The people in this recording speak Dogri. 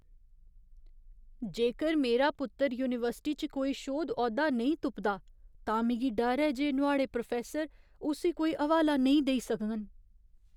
जेकर मेरा पुत्तर यूनीवर्सिटी च कोई शोध औह्दा नेईं तुपदा तां मिगी डर ऐ जे नुआढ़े प्रोफैसर उस्सी कोई हवाला नेईं देई सकङन।